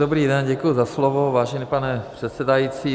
Dobrý den, děkuji za slovo, vážený pane předsedající.